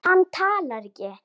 Hann talar ekki.